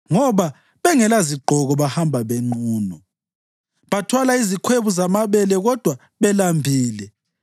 Ngoba bengelazigqoko bahamba nqunu; bathwala izikhwebu zamabele kodwa belambile.